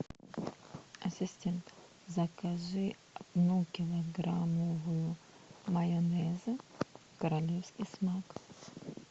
ассистент закажи одну килограммовую майонеза королевский смак